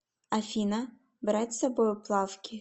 афина брать с собою плавки